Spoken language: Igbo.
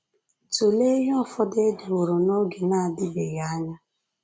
Tụlee ihe ụfọdụ e deworo n’oge na-adịbeghị anya